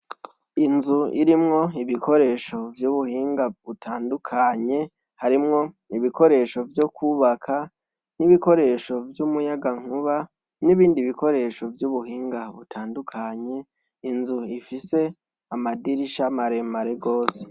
Inzu irimwo ibikoresho vy’ubuhinga butandukanye, harimwo ibikoresho vyo kwubaka, ibikoresho vy’umuyagankuba, n’ibindi bikoresho vy’ubuhinga butandukanye, Inzu ifise amadirisha maremare gose.